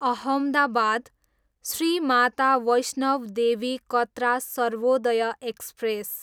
Ahmedabad, Shri Mata Vaishno Devi Katra Sarvodaya express